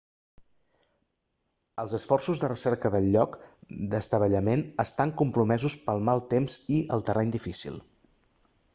els esforços de recerca del lloc d'estavellament estan compromesos pel mal temps i el terreny difícil